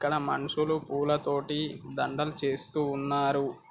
ఇక్కడ మనుషులు పూలతోటి దండలు చేస్తున్నారు.